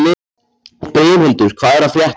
Brimhildur, hvað er að frétta?